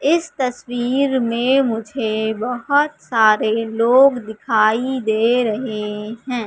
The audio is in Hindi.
इस तस्वीर में मुझे बहोत सारे लोग दिखाई दे रहे है।